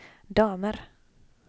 damer